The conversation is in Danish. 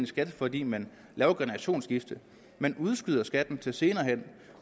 skat fordi man laver et generationsskifte man udskyder skatten til senere